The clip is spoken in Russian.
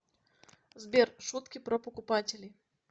сбер шутки про покупателей